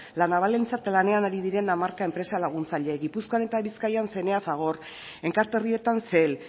la navalentzat lanean ari diren hamarka enpresa laguntzaile gipuzkoan eta bizkaian cna fagor enkarterrietan cel